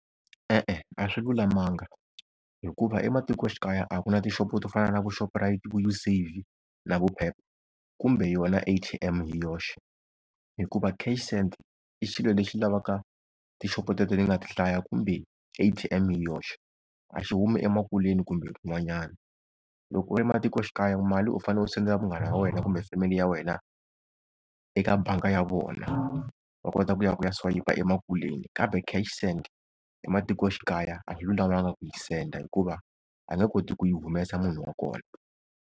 E-e a swi lulamanga, hikuva ematikoxikaya a ku na tixopo to fana na vo Shoprite, vo Usave na vo Pep, kumbe yona A_T_M hi yoxe. Hikuva cash send i xilo lexi lavaka tixopo teto ni nga ti hlaya, kumbe A_T_M hi yoxe. A xi humi emakuleni kumbe kun'wanyana. Loko u ri matikoxikaya mali u fanele u sendela munghana wa wena kumbe family ya wena eka bangi ya vona, va kota ku ya, ku ya swayipa emakuleni. Kambe cash send ematikoxikaya a yi lulamanga ku yi send hikuva a nge koti ku yi humesa munhu wa kona.